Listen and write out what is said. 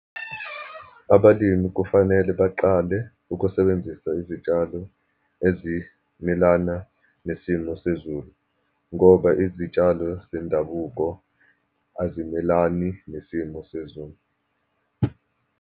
Abalimi kufanele baqale ukusebenzisa izitshalo ezimelana nesimo sezulu, ngoba izitshalo zendabuko azimelani nesimo sezulu.